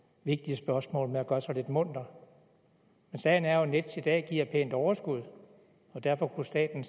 vigtige spørgsmål ved at gøre sig lidt munter men sagen er jo at nets i dag giver et pænt overskud og derfor kunne staten